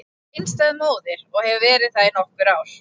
Ég er einstæð móðir og hef verið það í nokkur ár.